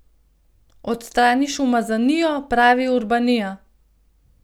Odstraniš umazanijo, pravi Urbanija.